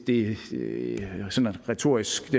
retorisk